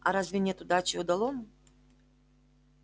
а разве нет удачи удалому